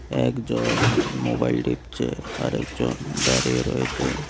একজন মোবাইল টিপছে আর একজন দাঁড়িয়ে আছে।